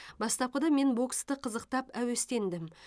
бастапқыда мен боксты қызықтап әуестендім